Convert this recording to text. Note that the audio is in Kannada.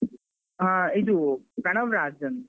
ಹ ಇದು ಪ್ರಣವ್ ರಾಜ್ ಅಂತ.